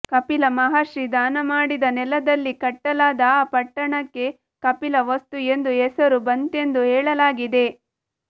ಕಪಿಲ ಮಹರ್ಷಿ ದಾನಮಾಡಿದ ನೆಲದಲ್ಲಿ ಕಟ್ಟಲಾದ ಆ ಪಟ್ಟಣಕ್ಕೆ ಕಪಿಲವಸ್ತು ಎಂದು ಹೆಸರು ಬಂತೆಂದು ಹೇಳಲಾಗಿದೆ